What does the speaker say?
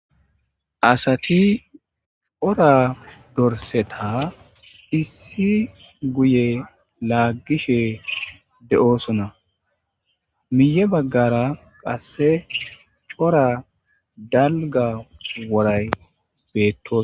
Ha asati wordorseta issi guyelagishe de'sona miye bagara qasse cora dalga woray betto.